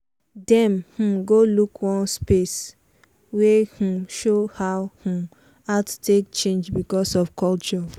dem um go look one space wey um show how um art take change because of culture.